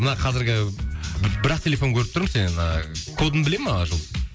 мына қазіргі бір ақ телефон көріп тұрмын сенен ііі кодын біле ма жұлдыз